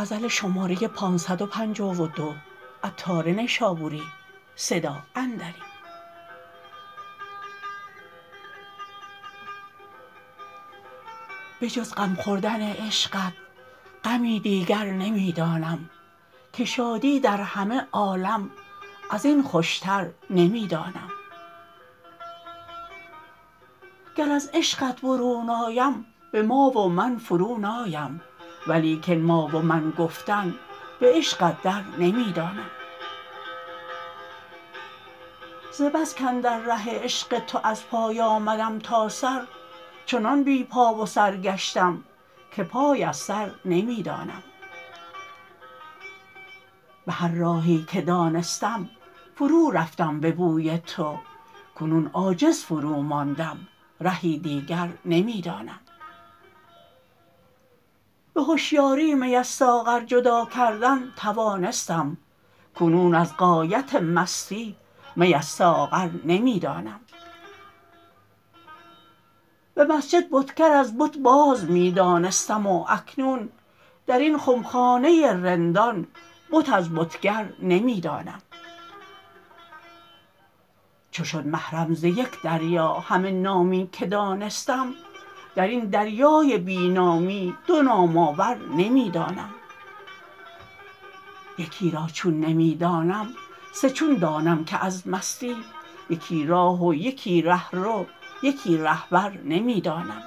بجز غم خوردن عشقت غمی دیگر نمی دانم که شادی در همه عالم ازین خوشتر نمی دانم گر از عشقت برون آیم به ما و من فرو نایم ولیکن ما و من گفتن به عشقت در نمی دانم ز بس کاندر ره عشق تو از پای آمدم تا سر چنان بی پا و سر گشتم که پای از سر نمی دانم به هر راهی که دانستم فرو رفتم به بوی تو کنون عاجز فرو ماندم رهی دیگر نمی دانم به هشیاری می از ساغر جدا کردن توانستم کنون از غایت مستی می از ساغر نمی دانم به مسجد بتگر از بت باز می دانستم و اکنون درین خمخانه رندان بت از بتگر نمی دانم چو شد محرم ز یک دریا همه نامی که دانستم درین دریای بی نامی دو نام آور نمی دانم یکی را چون نمی دانم سه چون دانم که از مستی یکی راه و یکی رهرو یکی رهبر نمی دانم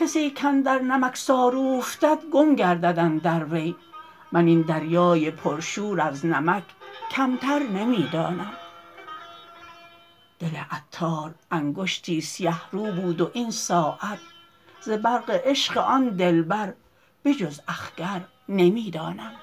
کسی کاندر نمکسار اوفتد گم گردد اندر وی من این دریای پر شور از نمک کمتر نمی دانم دل عطار انگشتی سیه رو بود و این ساعت ز برق عشق آن دلبر به جز اخگر نمی دانم